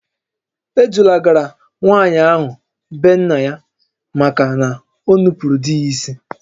E dulagara nwaanyị ahụ be nna ya maka na o nupuuru di ya isi